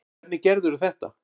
Hvernig gerðirðu þetta?